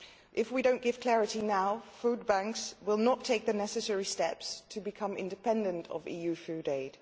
If we do not give clarity now, food banks will not take the necessary steps to become independent of EU food aid.